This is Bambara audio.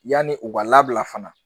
Yanni u ka labila fana